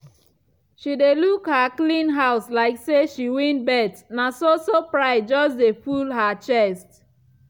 she dey look her clean house like say she win bet na so-so pride just de full her chest.